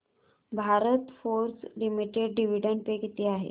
Bharat Forge limited dividend pay किती आहे